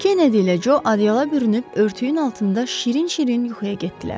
Kennedi ilə Co adyalara bürünüb örtüyün altında şirin-şirin yuxuya getdilər.